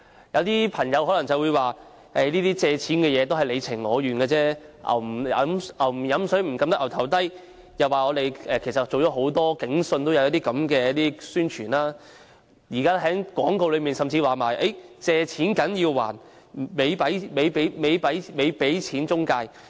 有朋友可能會說，借錢是你情我願的事，俗語有云，"牛不喝水，怎樣按牠的頭牠也不會低頭"，又說"警訊"已有類似宣傳，現時廣告甚至提到"借錢梗要還，咪俾錢中介"。